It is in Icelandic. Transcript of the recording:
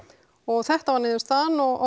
og þetta var niðurstaðan og